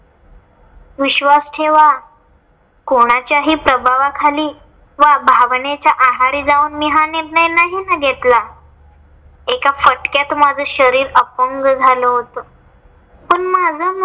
विश्वास ठेवा कोणाच्याही प्रभावाखाली वा भावनेच्या आहारी जाऊन मी हा निर्णय नाहीं ना घेतला. एका फटक्यात माझं शरीर अपंग झालं होतं. पण माझं मन